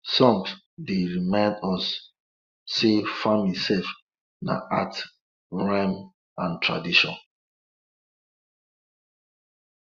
songs dey remind us say farming sef na art rhythm and tradition